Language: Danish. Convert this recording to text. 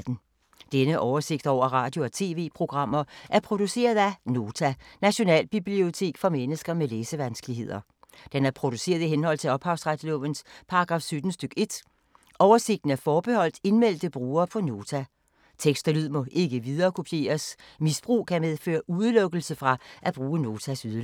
Denne oversigt over radio og TV-programmer er produceret af Nota, Nationalbibliotek for mennesker med læsevanskeligheder. Den er produceret i henhold til ophavsretslovens paragraf 17 stk. 1. Oversigten er forbeholdt indmeldte brugere på Nota. Tekst og lyd må ikke viderekopieres. Misbrug kan medføre udelukkelse fra at bruge Notas ydelser.